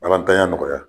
Alatanya nɔgɔya